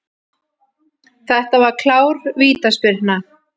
Þetta var klár vítaspyrna.